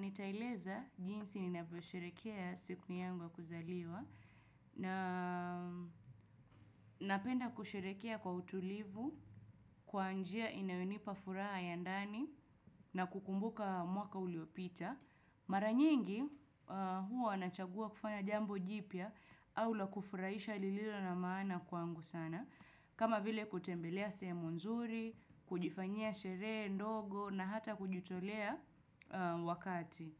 Nitaeleza jinsi ninavyosherehekea siku yangu ya kuzaliwa na napenda kusherehekea kwa utulivu kwa njia inayonipa furaha ya ndani na kukumbuka mwaka uliopita. Mara nyingi huwa nachagua kufanya jambo jipya au la kufurahisha lililo na maana kwangu sana. Kama vile kutembelea sehemu nzuri, kujifanyia sherehe ndogo na hata kujitolea wakati.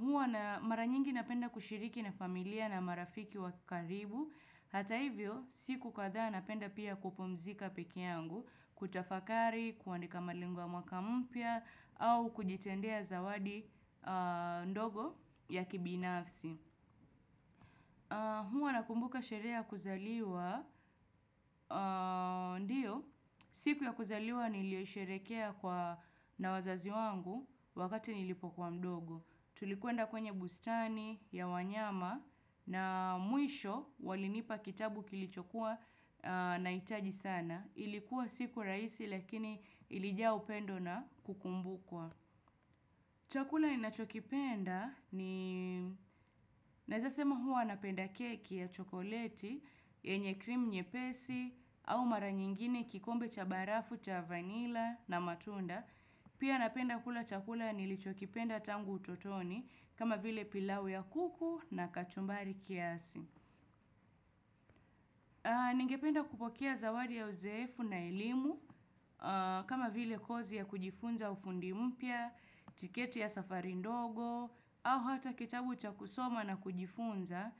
Huwa na mara nyingi napenda kushiriki na familia na marafiki wa karibu. Hata hivyo, siku kadhaa napenda pia kupumzika peke yangu, kutafakari, kuandika malengo ya mwaka mpya, au kujitendea zawadi ndogo ya kibinafsi. Huwa nakumbuka sherehe ya kuzaliwa, ndiyo, siku ya kuzaliwa niliyo hisherekea kwa na wazazi wangu wakati nilipokuwa mdogo. Tulikwenda kwenye bustani, ya wanyama na mwisho walinipa kitabu kilichokuwa na hitaji sana. Ilikuwa siku rahisi lakini ilijaa upendo na kukumbukwa. Chakula ninachokipenda ni naezasema huwa napenda keki ya chokoleti, yenye krimu nyepesi au mara nyingine kikombe cha barafu, cha vanila na matunda. Pia napenda kula chakula nilichokipenda tangu utotoni kama vile pilau ya kuku na kachumbari kiasi. Ningependa kupokea zawadi ya uzeefu na elimu kama vile kozi ya kujifunza ufundi mpya, tiketi ya safari ndogo au hata kitabu cha kusoma na kujifunza.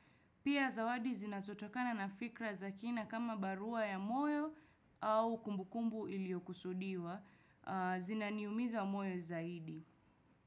Pia zawadi zinazotokana na fikra za kina kama barua ya moyo au kumbukumbu iliyokusudiwa zinaniumiza moyo zaidi.